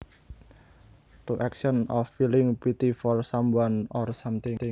To action of feeling pity for someone or something